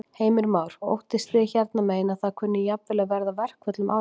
Heimir Már: Óttist þið hérna megin að það kunni jafnvel að verða verkföll um áramótin?